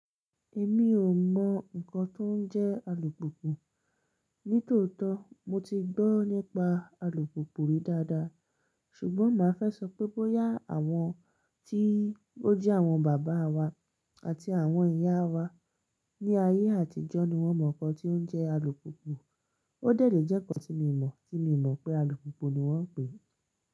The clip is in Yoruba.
Èmi ò mọ nnkan tó n jẹ́ alùpùkù. Nítòótó mo ti gbọ́ nípa alùpùpù rí dáadáa ṣùgbọ́n màá fẹ́ sọ pé bóyá àwọn tí ó jẹ́ àwọn bàbá wa àti àwọn ìyá wa ní ayé àtijọ́ ni wọ́n mọ nkan tí ó n jẹ́ alùpùpù. Ó dé èlé jẹ́ nnkan tí mo mọ̀, tí mi o mọ̀ pé alùpùpù ni wọ́n ń pè é.